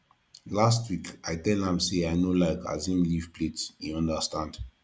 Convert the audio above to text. last week i tell am sey i no like as im leave plate he understand